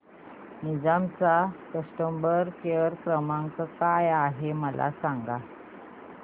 Ninja चा customer care क्रमांक काय आहे मला सांगा